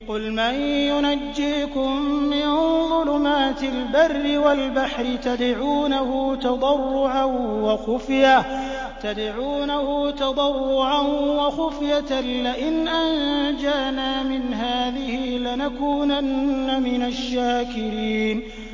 قُلْ مَن يُنَجِّيكُم مِّن ظُلُمَاتِ الْبَرِّ وَالْبَحْرِ تَدْعُونَهُ تَضَرُّعًا وَخُفْيَةً لَّئِنْ أَنجَانَا مِنْ هَٰذِهِ لَنَكُونَنَّ مِنَ الشَّاكِرِينَ